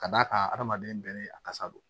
Ka d'a kan adamaden bɛɛ ni a kasa don